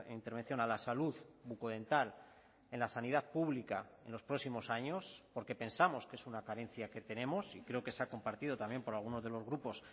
intervención a la salud bucodental en la sanidad pública en los próximos años porque pensamos que es una carencia que tenemos y creo que se ha compartido también por algunos de los grupos